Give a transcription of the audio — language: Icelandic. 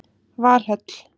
Valhöll